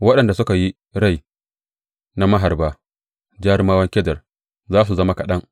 Waɗanda suka yi rai na maharba, jarumawan Kedar, za su zama kaɗan.